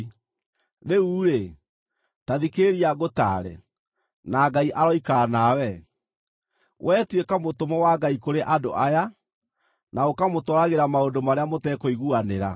Rĩu-rĩ, ta thikĩrĩria ngũtaare, na Ngai aroikara nawe. Wee tuĩka mũtũmwo wa Ngai kũrĩ andũ aya, na ũkamũtwaragĩra maũndũ marĩa matekũiguanĩra.